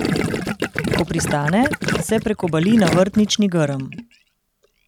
Ko pristane, se prekobali na vrtnični grm.